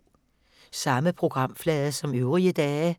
Samme programflade som øvrige dage